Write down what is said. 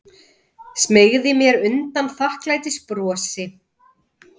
Smeygi mér undan þakklætisbrosi.